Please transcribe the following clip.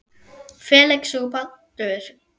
Felix og Baldur.